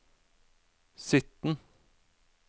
sytten